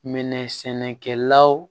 Minɛ sɛnɛkɛlaw